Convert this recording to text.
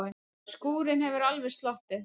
Skúrinn hefur alveg sloppið?